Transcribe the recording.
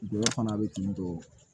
Gɔyɔ fana bɛ kin don